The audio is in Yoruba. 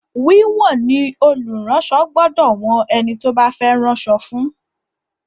Wíwọ̀n ni olùránsọ gbọdọ̀ wọn ẹni tó bá fẹ́ ránṣọ fún.